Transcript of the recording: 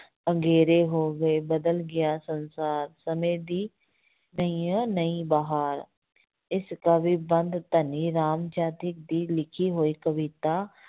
ਅਗੇਰੇ ਹੋ ਗਏ, ਬਦਲ ਗਿਆ ਸੰਸਾਰ, ਸਮੇਂ ਦੀ ਨਵੀਓਂ ਨਵੀਂ ਬਹਾਰ, ਇਸ ਕਾਵਿ ਬੰਧ ਧਨੀ ਰਾਮ ਚਾਤ੍ਰਿਕ ਦੀ ਲਿਖੀ ਹੋਈ ਕਵਿਤਾ